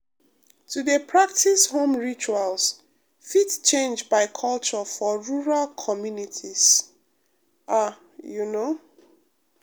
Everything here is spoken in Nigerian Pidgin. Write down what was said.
to dey practice home rituals fit change by culture for rural communities ah you know